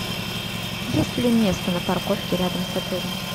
есть ли место на парковке рядом с отелем